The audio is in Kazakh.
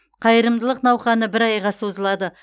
қайырымдылық науқаны бір айға созылады